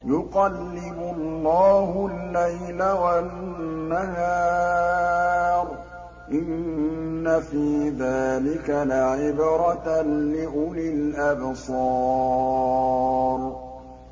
يُقَلِّبُ اللَّهُ اللَّيْلَ وَالنَّهَارَ ۚ إِنَّ فِي ذَٰلِكَ لَعِبْرَةً لِّأُولِي الْأَبْصَارِ